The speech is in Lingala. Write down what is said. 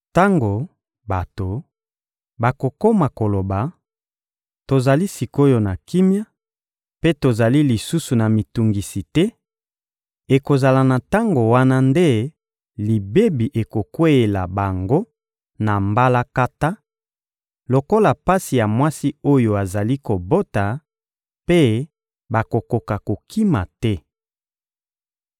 Tango bato bakokoma koloba: «Tozali sik’oyo na kimia, mpe tozali lisusu na mitungisi te,» ekozala na tango wana nde libebi ekokweyela bango na mbalakata, lokola pasi ya mwasi oyo azali kobota, mpe bakokoka kokima te.